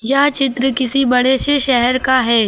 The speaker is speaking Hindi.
यह चित्र किसी बड़े से शहर का है।